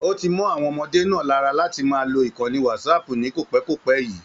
O tí mọ àwọn ọmọdé náà lára láti máa lò ìkànnì Whatsapp ní kopẹ̀kopẹ̀ yìí.